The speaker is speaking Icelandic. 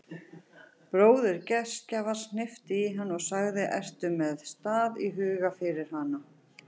Bróðir gestgjafans hnippti í hana og sagði: ertu með stað í huga fyrir hana?